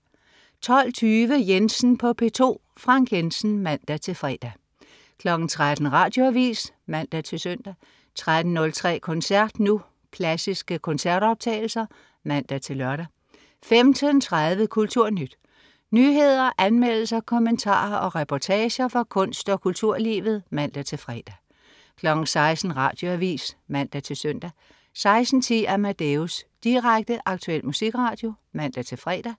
12.20 Jensen på P2. Frank Jensen (man-fre) 13.00 Radioavis (man-søn) 13.03 Koncert Nu. Klassiske koncertoptagelser (man-lør) 15.30 KulturNyt. Nyheder, anmeldelser, kommentarer og reportager fra kunst- og kulturlivet (man-fre) 16.00 Radioavis (man-søn) 16.10 Amadeus. Direkte, aktuel musikradio (man-fre)